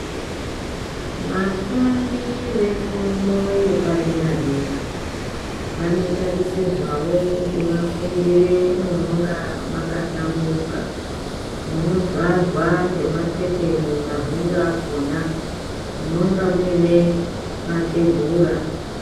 Vafundi vefundo yepaderadera vanotarisirwawo kuti vafundire munonga mwakahlamburuka munovharwa ngemaketeni mahwindo akona munonga muine matebhura